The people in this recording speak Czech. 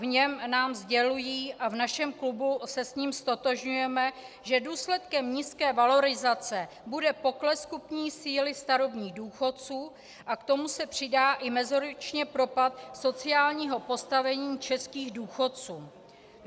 V něm nám sdělují, a v našem klubu se s tím ztotožňujeme, že důsledkem nízké valorizace bude pokles kupní síly starobních důchodců a k tomu se přidá i meziročně propad sociálního postavení českých důchodců.